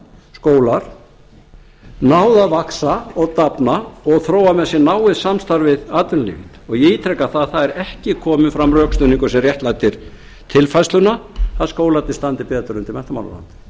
skólar náð að vaxa og dafna og þróa með sér náið samstarf við atvinnulífið og ég ítreka að það er ekki kominn fram rökstuðningur sem réttlætir tilfærsluna að skólarnir standi betur undir menntamálaráðuneytinu um